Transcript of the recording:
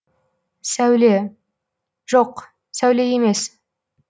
сәуле жоқ сәуле емес